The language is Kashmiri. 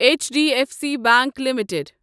H D F C bank limited